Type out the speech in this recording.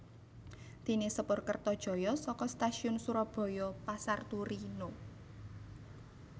Déné sepur Kertajaya saka Stasiun Surabaya Pasar Turi No